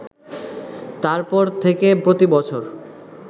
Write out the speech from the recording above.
তারপর থেকে প্রতি বছর